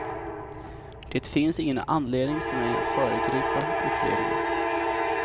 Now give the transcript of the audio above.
Det finns ingen anledning för mig att föregripa utredningen.